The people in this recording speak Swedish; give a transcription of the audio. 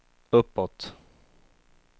uppåt